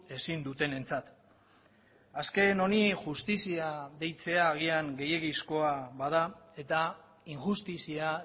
ezin dutenentzat azken honi justizia deitzea agian gehiegizkoa bada eta injustizia